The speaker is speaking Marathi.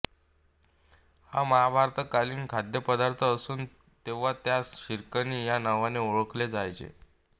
हा महाभारतकालीन खाद्यपदार्थ असून तेव्हा त्यास शिकरणी या नावाने ओळखले जायचे